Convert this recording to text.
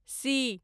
C